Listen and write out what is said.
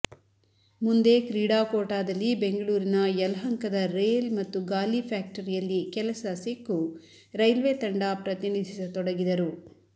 ಮುಂದೆ ಕ್ರೀಡಾಕೋಟಾದಲ್ಲಿ ಬೆಂಗಳೂರಿನ ಯಲಹಂಕದ ರೇಲ್ ಮತ್ತು ಗಾಲಿ ಫ್ಯಾಕ್ಟರಿಯಲ್ಲಿ ಕೆಲಸ ಸಿಕ್ಕು ರೈಲ್ವೆ ತಂಡ ಪ್ರತಿನಿಧಿಸತೊಡಗಿದರು